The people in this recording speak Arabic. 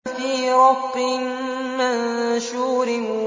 فِي رَقٍّ مَّنشُورٍ